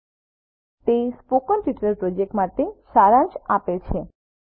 httpspoken tutorialorgWhat is a spoken tutorial તે spoken tutorial project માટે સારાંશ આપે છે